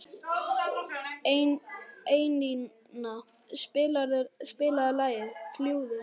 Einína, spilaðu lagið „Fljúgðu“.